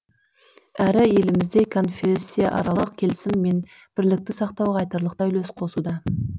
әрі елімізде конфессияаралық келісім мен бірлікті сақтауға айтарлықтай үлес қосуда